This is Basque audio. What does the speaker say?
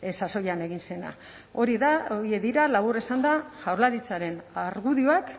sasoian egin zena hori da horiek dira labur esanda jaurlaritzaren argudioak